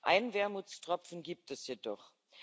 Einen Wermutstropfen gibt es jedoch.